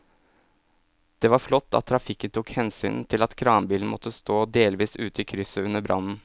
Det var flott at trafikken tok hensyn til at kranbilen måtte stå delvis ute i krysset under brannen.